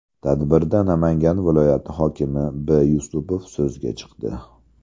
Tadbirda Namangan viloyati hokimi B. Yusupov so‘zga chiqdi.